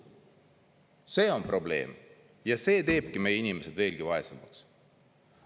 See on probleem ja see teebki meie inimesed veelgi vaesemaks.